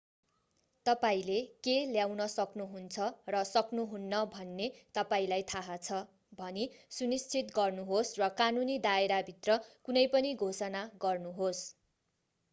तपाईंले के ल्याउन सक्नुहुन्छ र सक्नुहुन्न भन्ने तपाईंलाई थाहा छ भनी सुनिश्चित गर्नुहोस् र कानुनी दायराभित्र कुनै पनि घोषणा गर्नुहोस्